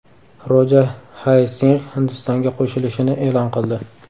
Roja Hay Singh Hindistonga qo‘shilishini e’lon qildi.